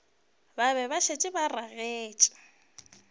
be ba šetše ba ragetše